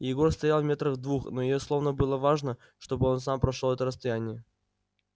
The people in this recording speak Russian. егор стоял метрах в двух но ей словно было важно чтобы он сам прошёл это расстояние